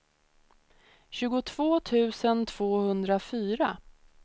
tjugotvå tusen tvåhundrafyra